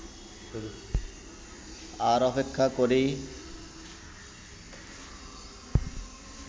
আর অপেক্ষা করি